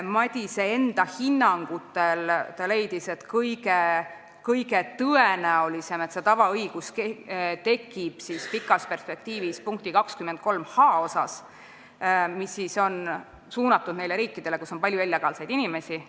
Madise hinnangul on kõige tõenäolisem, et see tavaõigus tekib pikas perspektiivis punkti 23h puhul, mis on suunatud neile riikidele, kus on palju illegaalseid inimesi.